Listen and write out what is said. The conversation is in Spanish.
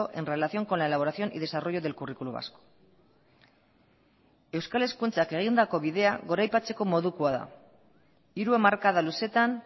en relación con la elaboración y desarrollo del currículo vasco euskal hezkuntzak egindako bidea goraipatzeko modukoa da hiru hamarkada luzeetan